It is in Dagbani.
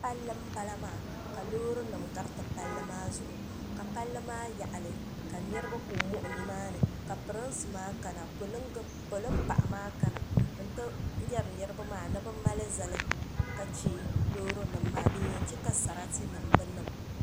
pali n bala maa ka lorinim garitɛ pali maa zuɣ' ka pali maa yaɣili ka niriba kuli moɣ' ni maani ka pɛrinsi maa kana ka polin paɣ' maa kana n yɛ yara niriba maa ni be mali zani ka chɛ lori nim maa din yan chɛ ka saritɛ nim be niŋ